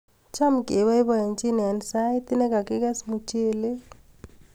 Cham keboiboichini eng sait negagiges muchelek